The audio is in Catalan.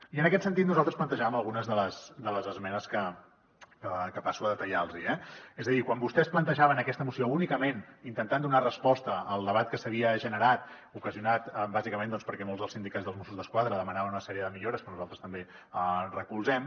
i en aquest sentit nosaltres plantejàvem algunes de les esmenes que passo a detallar los hi eh és a dir quan vostès plantejaven aquesta moció únicament intentant donar resposta al debat que s’havia generat ocasionat bàsicament perquè molts dels sindicats dels mossos d’esquadra demanaven una sèrie de millores que nosaltres també recolzem